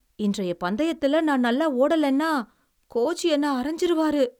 இன்றைய பந்தயத்துல நான் நல்லா ஓடலைன்னா, கோச் என்ன அறைஞ்சுருவாரு.